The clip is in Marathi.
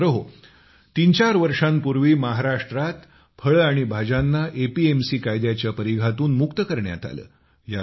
मित्रहो तीन चार वर्षांपूर्वी महाराष्ट्रात फळे आणि भाज्यांना एपीएमसी कायद्याच्या परिघातून मुक्त करण्यात आले